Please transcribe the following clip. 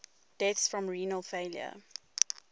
deaths from renal failure